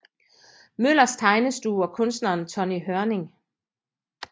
Møllers Tegnestue og kunstneren Tonny Hørning